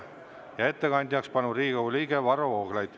Ja ettekandjaks on Riigikogu liige Varro Vooglaid.